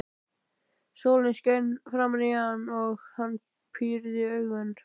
Sólin skein framan í hann og hann pírði augun.